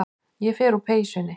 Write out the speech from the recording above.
Ég fer úr peysunni.